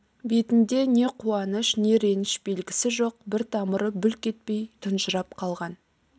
бетінде не қуаныш не реніш белгісі жоқ бір тамыры бүлк етпей тұнжырап қалған